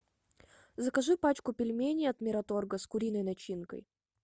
закажи пачку пельменей от мираторга с куриной начинкой